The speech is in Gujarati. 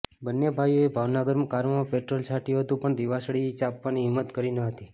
બંને ભાઇઓએ ભાવનગરમાં કારમાં પેટ્રોલ છાટયુ હતુ પણ દિવાસળી ચાપવાની હિમ્મત કરી ન હતી